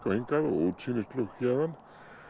hingað og útsýnisflug héðan